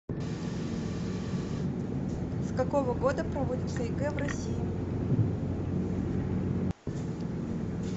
с какого года проводится егэ в россии